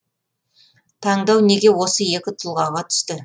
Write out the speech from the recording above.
таңдау неге осы екі тұлғаға түсті